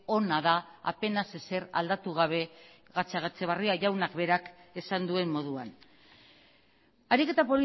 ona da apenas ezer aldatu gabe gatzagaetxebarria jaunak berak esan duen moduan ariketa